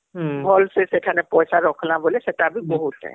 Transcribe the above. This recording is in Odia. ହଁ ଭଲ ସେ ସେଠାନେ ପଇସା ରଖବା ବୋଲି ସେଟା ବି ବହୁତଆଇଁ